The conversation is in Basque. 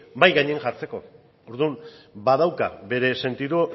mahai gainean jartzeko orduan badauka bere sentidu